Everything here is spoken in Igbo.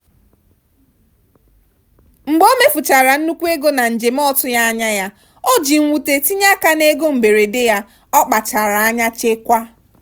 mgbe omefuchara nnukwu ego na njem ọtụghị anya ya o ji mwute tinye aka n'ego mberede ya ọkpachara anya chekwaa.